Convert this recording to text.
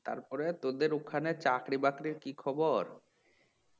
তারপর তোদের ওখানে চাকরি বাকরির কি খবর? "